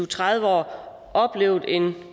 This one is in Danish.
tredive år oplevet en